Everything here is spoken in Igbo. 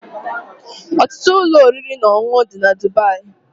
Ọtụtụ ụlọ oriri na ọṅụṅụ dị na Dubai